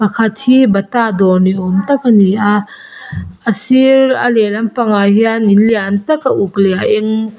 pakhat hi bata dawr ni awm tak hi a ni a a sir a lehlam pangah hian in lian tak a uk leh a eng--